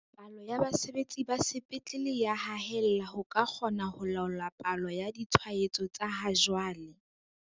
"Palo ya basebetsi ba sepetlele e ya haella ho ka kgona ho laola palo ya ditshwaetso tsa ha jwale."